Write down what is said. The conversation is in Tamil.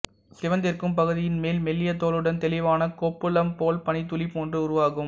சிவந்திருக்கும் பகுதியின் மேல் மெல்லிய தோலுடன் தெளிவான கொப்புளம் ஒரு பனித் துளி போன்று உருவாகும்